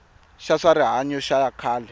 xa swa rihanyo xa khale